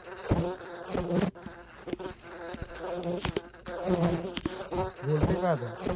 बोलते काय आता